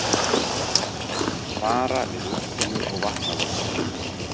Vara við úrkomu og vatnavöxtum